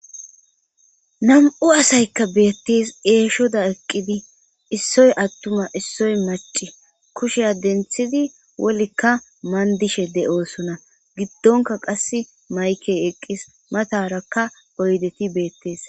Nam7u asaykka beettes eeshoda eqqidi issoy attuma issoy maci kusheya denthidi wolikka mandishe de7oosona giddonka qas maykey eqqis matarakka oydeti beettees.